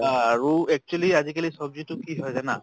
আৰু actually আজি কালি চব্জি টো কি হয় জানা?